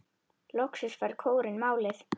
Loksins fær kórinn málið.